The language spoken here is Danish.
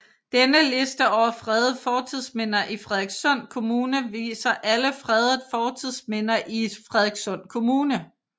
Denne liste over fredede fortidsminder i Frederikssund Kommune viser alle fredede fortidsminder i Frederikssund Kommune